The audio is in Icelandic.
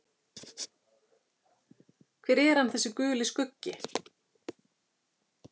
Hver er hann, þessi Guli skuggi?